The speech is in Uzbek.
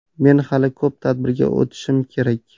Men hali Ko‘p tadbirga o‘tishim kerak.